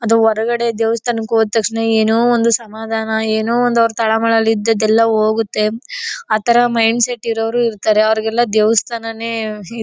ಅದು ಹೊರಗಡೆ ದೇವಸ್ಥಾನಕ್ ಹೊದು ತಕ್ಷಣ ಏನೋ ಒಂದು ಸಮಾಧಾನ ಏನೋ ಒಂದ್ ಅವರ ತಳಮಳ ಇದಿದ್ದು ಎಲ್ಲ ಹೋಗುತ್ತೆ. ಆತರ ಮೈಂಡ್ ಸೆಟ್ ಇರವರು ಇರ್ತಾರೆ ಅವರ್ಗೆ ಎಲ್ಲ ದೇವಸ್ಥಾನನೇ--